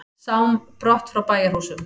Sám brott frá bæjarhúsum.